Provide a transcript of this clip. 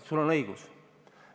Sul on õigus.